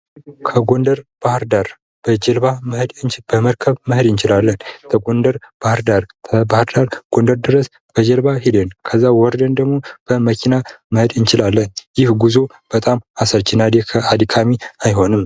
ከጎንደር ባህርዳር በመርከብ መሄድ እንችላለን ከጎንደር ባህርዳር ከባህርዳር ጎንደር ድረስ በጀልባ ሂደን ዘዛ ወርደን ደግሞ በመኪና መሄድ እንችላለን ይህ ጉዞ በጣም አሰልችና አድካሚ አይሆንም።